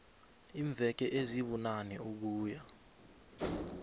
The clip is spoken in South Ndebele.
iimveke ezibunane ukuya